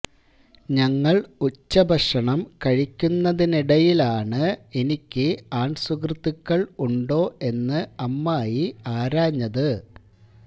ഞങ്ങൾ ഉച്ചഭക്ഷണം കഴിക്കുന്നതിനിടയിലാണ് എനിക്ക് ആൺ സുഹൃത്തുക്കൾ ഉണ്ടോ എന്ന് അമ്മായി ആരാഞ്ഞത്